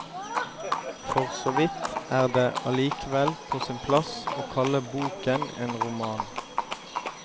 For så vidt er det allikevel på sin plass å kalle boken en roman.